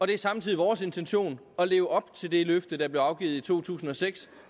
det er samtidig vores intention at leve op til det løfte der blev afgivet i to tusind og seks